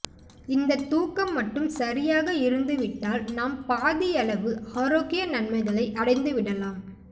இந்த தூக்கம் மட்டும் சரியாக இருந்துவிட்டால் நாம் பாதியளவு ஆரோக்கிய நன்மைகளை அடைந்துவிடலாம்